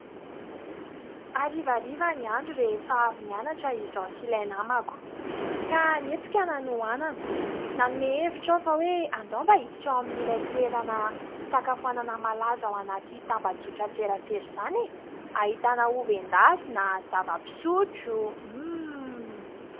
Hariavriva ny andro rehefa avy nianatra izaho sy ilay namako. Ka nietsika ny hanoanana, nanome hevitra aho fa hoe andao mba hiditra ao amin'ilay toerana fisakafoanana malaza ao anaty tambajotran-tserasera izany e ? Ahitana ovy endasina, zava-pisotro, mmmh !